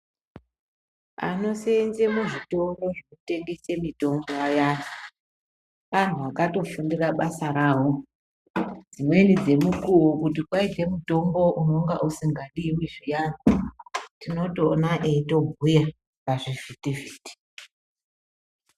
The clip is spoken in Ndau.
Anosenze muzvitoro zvekutengese mitombo ayani , anhu akatofundire basa rawo dzimweni dzemukuwo kuti kwaite mutombo unonga usingadiwi zviyani tinotoona eitobhuya pazvivhitivhiti.